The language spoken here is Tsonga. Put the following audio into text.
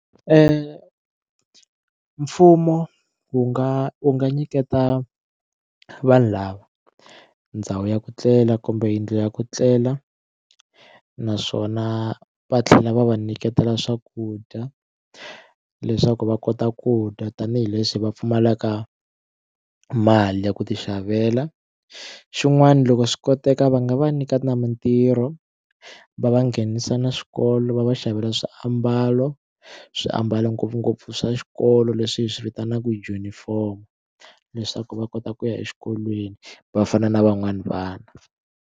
mfumo wu nga wu nga nyiketa vanhu lava ndhawu ya ku tlela kumbe yindlu ya ku tlela naswona va tlhela va va nyiketa swakudya leswaku va kota ku dya tanihileswi va pfumalaka mali ya ku ti xavela xin'wana loko swi koteka va nga va nyika na mitirho va va nghenisa na swikolo va va xavela swiambalo swi ambalo ngopfungopfu swa xikolo leswi hi swi vitanaka junifomo leswaku va kota ku ya exikolweni va fana na van'wani vana.